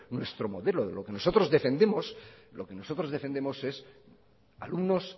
nuestro modelo de lo que nosotros defendemos lo que nosotros defendemos es alumnos